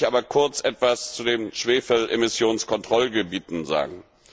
Lassen Sie mich aber kurz etwas zu den Schwefelemissionskontrollgebieten sagen.